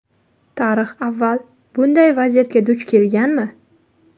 Tarix avval bunday vaziyatga duch kelganmi?